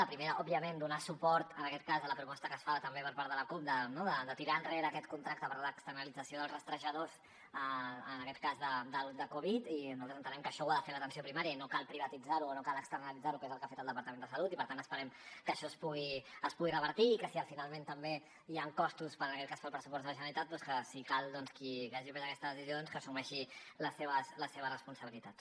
el primer òbviament donar suport en aquest cas a la proposta que es fa també per part de la cup de tirar enrere aquest contracte per a l’externalització dels rastrejadors en aquest cas de covid i nosaltres entenem que això ho ha de fer l’atenció primària i no cal privatitzar ho o no cal externalitzar ho que és el que ha fet el departament de salut i per tant esperem que això es pugui revertir i que si que finalment també hi ha costos per en aquest cas per al pressupost de la generalitat doncs que si cal qui hagi pres aquestes decisions doncs qui hagi pres aquesta decisió que assumeixi les seves responsabilitats